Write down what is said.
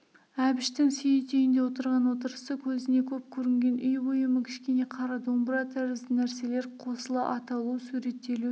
әбіштің сейіт үйінде отырған отырысы көзіне көп көрінген үй бұйымы кішкене қара домбыра тәрізді нәрселер қосыла аталу суреттелу